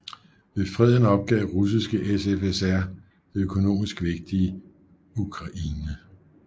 Ved freden opgav Russiske SFSR det økonomisk vigtige Ukraine